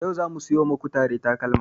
Yau zamu siyo ma kutare takalma